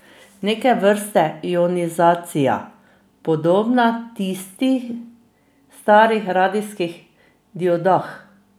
Neke vrste ionizacija, podobna tisti v starih radijskih diodah.